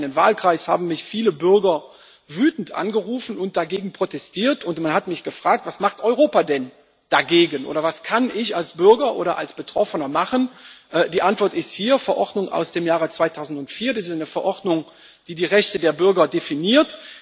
In meinem kleinen Wahlkreis haben mich viele Bürger wütend angerufen und dagegen protestiert, und man hat mich gefragt Was macht Europa denn dagegen, oder was kann ich als Bürger oder als Betroffener machen? Die Antwort ist hier die Verordnung aus dem Jahre 2004. Das ist eine Verordnung, die die Rechte der Bürger definiert.